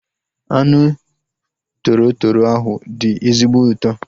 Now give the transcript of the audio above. Anụ toro toro ahu dị ezigbo ụtọ